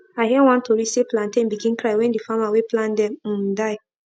i hear one tori say plantain begin cry when the farmer wey plant dem um die